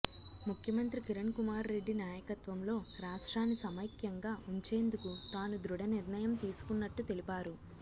ముఖ్యమంత్రి కిరణ్ కుమార్ రెడ్డి నాయకత్వంలో రాష్ట్రాన్ని సమైక్యంగా ఉంచేందుకు తాను దృఢ నిర్ణయం తీసుకున్నట్టు తెలిపారు